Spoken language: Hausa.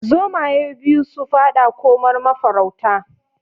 Zomaye biyu su faɗa komar mafarauta